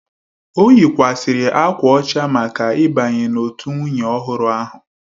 O yikwasịrị akwa ọcha maka ịbanye n'òtù nwunye ọhụrụ ahụ.